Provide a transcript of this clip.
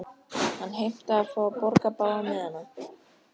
Hann heimtaði að fá að borga báða miðana.